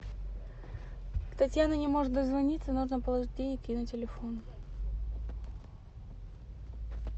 татьяна не может дозвониться нужно положить денег ей на телефон